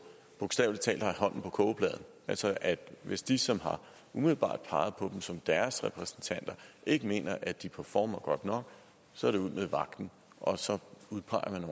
bogstavelig talt har hånden på kogepladen altså at hvis de som umiddelbart har peget på dem som deres repræsentanter ikke mener at de performer godt nok så er det ud af vagten og så udpeges